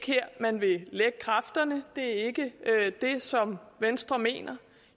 her man vil lægge kræfterne det er ikke det som venstre mener